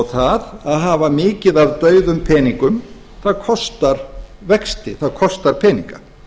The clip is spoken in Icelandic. það að hafa mikið af dauðum peningum kostar vexti það kostar peninga